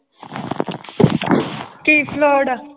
ਕੀ flood ਆ?